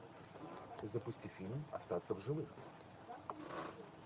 запусти фильм остаться в живых